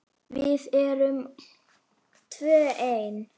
Við erum tvö ein.